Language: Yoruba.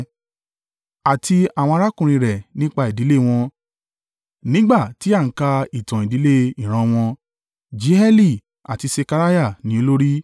Àti àwọn arákùnrin rẹ̀ nípa ìdílé wọn, nígbà tí a ń ka ìtàn ìdílé ìran wọn: Jeieli àti Sekariah ni olórí,